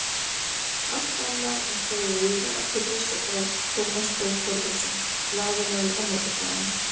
Allt annað en þeir eiga að pirra sig á Tómas Þór Þórðarson, blaðamaður á Morgunblaðinu.